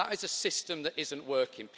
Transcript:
That is a system which isn't working.